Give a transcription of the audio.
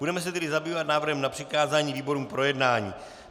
Budeme se tedy zabývat návrhem na přikázání výborům k projednání.